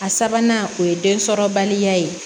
A sabanan o ye densɔrɔbaliya ye